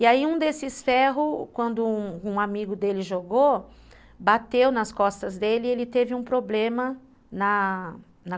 E aí um desses ferros, quando um um amigo dele jogou, bateu nas costas dele e ele teve um problema na na